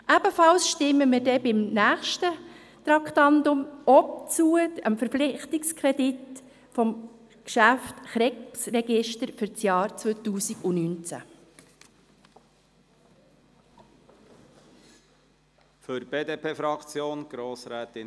Ebenfalls werden wir auch beim nächsten Traktandum zustimmen, dem Verpflichtungskredit des Geschäfts Krebsregister für das Jahr 2019.